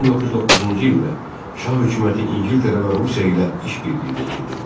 1909-cu ildə şah hökuməti İngiltərə və Rusiya ilə iş birliyinə girdi.